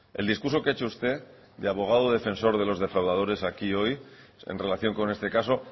el discurso que ha hecho usted de abogado defensor de los defraudadores aquí hoy en relación con este caso